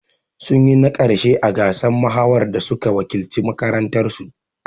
Sun yi na ƙarshe a gasar mahawar da suka wakilci makarantar su